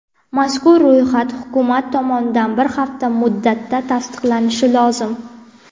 Mazkur ro‘yxat Hukumat tomonidan bir hafta muddatda tasdiqlanishi lozim.